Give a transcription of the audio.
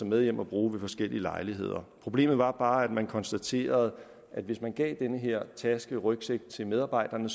med hjem og bruge ved forskellige lejligheder problemet var bare at man konstaterede at hvis man gav denne her taskerygsæk til medarbejderne